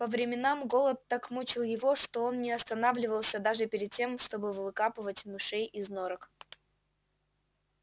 по временам голод так мучил его что он не останавливался даже перед тем чтобы выкапывать мышей из норок